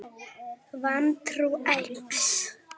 Vantrú eykst.